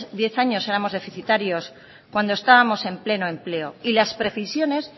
diez años éramos deficitarios cuando estábamos en pleno empleo y las previsiones